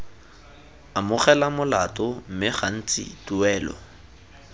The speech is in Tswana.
amogela molato mme gantsi tuelo